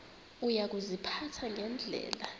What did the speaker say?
uya kuziphatha ngendlela